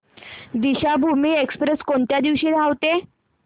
Deekshabhoomi express कोणत्या दिवशी धावते